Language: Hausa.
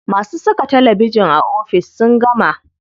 Masu saka talabijin a ofis sun gama.